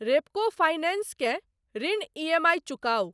Repco finance केँ ऋण EMI चुकाउ।